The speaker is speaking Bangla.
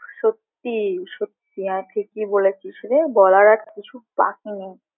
সত্যি সত্যি হ্যাঁ ঠিকই বলেছিস রে বলার আর কিছু বাকি নেই।